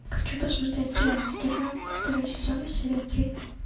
хочу посмотреть сериал содержанки второй сезон серия три